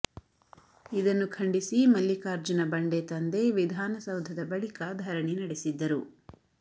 ಇದನ್ನು ಖಂಡಿಸಿ ಮಲ್ಲಿಕಾರ್ಜುನ ಬಂಡೆ ತಂದೆ ವಿಧಾನಸೌಧದ ಬಳಿಕ ಧರಣಿ ನಡೆಸಿದ್ದರು